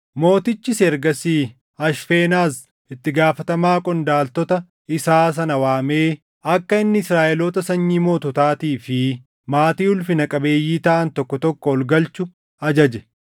Mootichis ergasii Ashfenaz itti gaafatamaa qondaaltota isaa sana waamee akka inni Israaʼeloota sanyii moototaatii fi maatii ulfina qabeeyyii taʼan tokko tokko ol galchu ajaje;